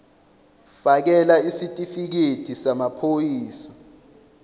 fakela isitifikedi samaphoyisa